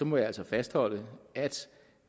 må jeg altså fastholde at